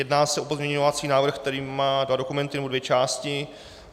Jedná se o pozměňovací návrh, který má dva dokumenty, nebo dvě části.